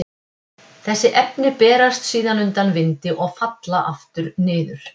Þessi efni berast síðan undan vindi og falla aftur niður.